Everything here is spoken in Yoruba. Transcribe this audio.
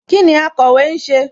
Kíni akọ̀wé ń ṣe?